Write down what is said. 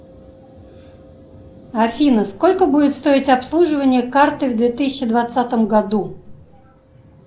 афина сколько будет стоить обслуживание карты в две тысячи двадцатом году